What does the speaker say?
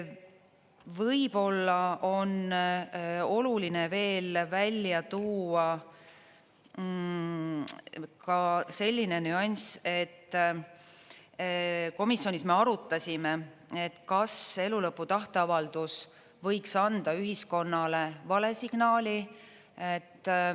Võib-olla on oluline veel välja tuua ka selline nüanss, et komisjonis me arutasime, et kas elulõpu tahteavaldus võiks anda ühiskonnale vale signaali.